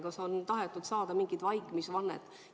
Kas on tahetud saada mingit vaikimisvannet?